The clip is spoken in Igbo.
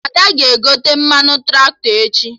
Ada ga-egote mmanụ Traktọ echi